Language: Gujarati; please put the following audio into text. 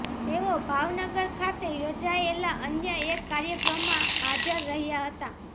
તેઓ ભાવનગર ખાતે યોજાયેલા અન્ય એક કાર્યક્રમાં હાજર રહ્યા હતા